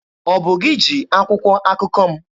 Ọ bụ gị ji akwụkwọ akụkọ m?